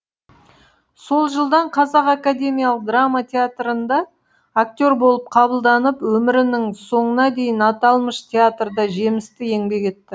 сол жылдан қазақ академиялық драма театрында актер болып қабылданып өмірінің соңына дейін аталмыш театрда жемісті еңбек етті